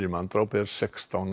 manndráp er sextán